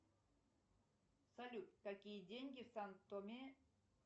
салют какие деньги в сантоме